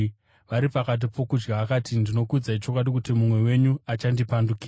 Vari pakati pokudya akati, “Ndinokuudzai chokwadi kuti mumwe wenyu achandipandukira.”